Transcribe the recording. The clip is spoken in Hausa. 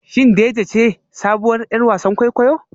Shin Dejay ce sabuwar 'yar wasan kwaikwayo?